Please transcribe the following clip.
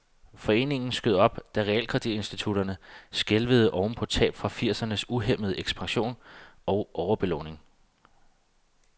Foreningen skød op, da realkreditinstitutterne skælvede oven på tab fra firsernes uhæmmede ekspansion og overbelåninger.